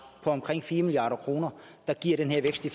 på omkring fire milliard kr der giver den her vækst i